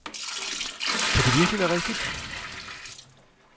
Kan det virkelig være rigtigt?